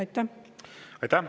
Aitäh!